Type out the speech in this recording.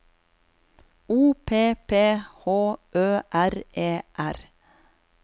O P P H Ø R E R